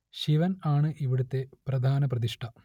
ശിവൻ ആണ് ഇവിടത്തെ പ്രധാന പ്രതിഷ്ഠ